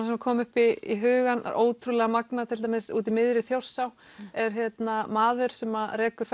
sem koma upp í hugann það er ótrúlega magnað til dæmis út í miðri Þjórsá er maður sem rekur